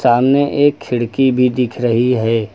सामने एक खिड़की भी दिख रही है।